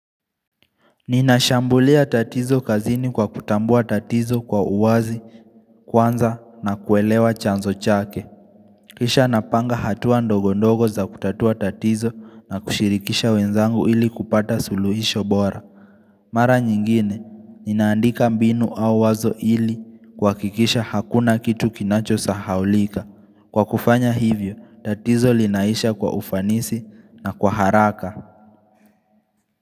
Ninashambulia tatizo kazini kwa kutambua tatizo kwa uwazi kwanza na kuelewa chanzo chake Kisha napanga hatua ndogondogo za kutatua tatizo na kushirikisha wenzangu ili kupata suluhisho bora Mara nyingine, ninaandika mbinu au wazo ili kuhakikisha hakuna kitu kinachosahaulika. Kwa kufanya hivyo, tatizo linaisha kwa ufanisi na kwa haraka.